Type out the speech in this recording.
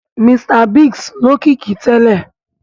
Mr Biggs lókìkí tẹ́lẹ̀